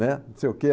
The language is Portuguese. né, não sei o quê.